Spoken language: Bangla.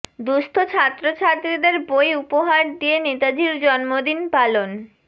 দুস্থ ছাত্র ছাত্রী দের বই উপহার দিয়ে নেতাজির জন্মদিন পালন